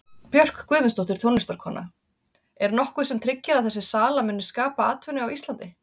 Björk Guðmundsdóttir, tónlistarkona: Er nokkuð sem tryggir að þessi sala muni skapa atvinnu á Íslandi?